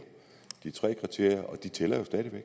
de tre kriterier og de tæller jo stadig væk